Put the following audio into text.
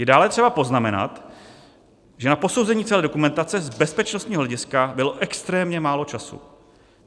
Je dále třeba poznamenat, že na posouzení celé dokumentace z bezpečnostního hlediska bylo extrémně málo času.